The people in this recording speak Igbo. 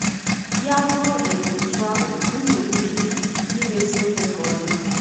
Ya bụrụ um otú ahụ, unu nwere ike imezi ihe ka ọ dị mma.